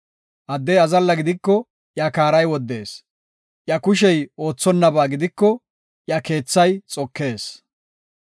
Addey azalla gidiko iya kaaray woddees; iya kushey oothonnaba gidiko, iya keethay xokees.